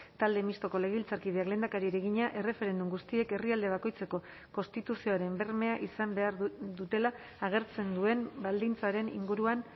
talde mistoko legebiltzarkideak lehendakariari egina erreferendum guztiek herrialde bakoitzeko konstituzioaren bermea izan behar dutela agertzen duen baldintzaren inguruan